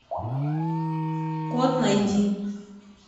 код найди